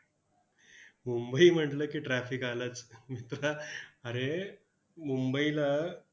मुंबई म्हटलं की traffic आलंच. मित्रा अरे, मुंबईला